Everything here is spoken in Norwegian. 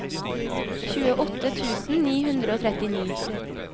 tjueåtte tusen ni hundre og trettini